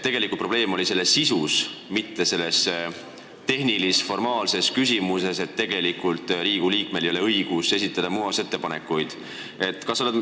Tegelik probleem oli sisus, mitte tehnilis-formaalses küsimuses, et Riigikogu liikmel ei ole õigust muudatusettepanekuid esitada.